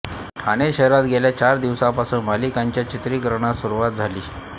ठाणे शहरात गेल्या चार दिवसांपासून मालिकांच्या चित्रीकरणास सुरुवात झाली